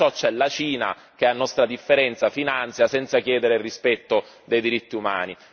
In tutto ciò c'è la Cina, che a nostra differenza finanzia senza chiedere il rispetto dei diritti umani.